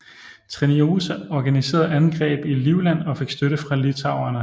Treniota organiserede angreb i Livland og fik støtte fra litauerne